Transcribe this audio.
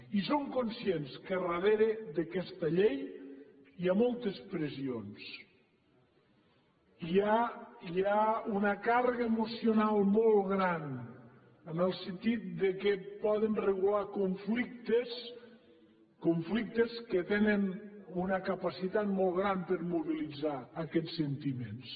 i som conscients que darrere d’aquesta llei hi ha moltes pressions hi ha una càrrega emocional molt gran en el sentit que poden regular conflictes conflictes que tenen una capacitat molt gran per a mobilitzar aquests sentiments